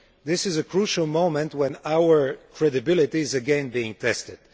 This is a crucial moment when our credibility is again being tested.